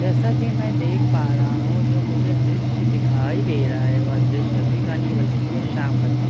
जैसा की मैं देख पा रहा हूँ जो मुझे दृशय दिखाई दे रहा है वह द्रश्य अभी का नहीं बल्कि शाम का दृशय सूरज --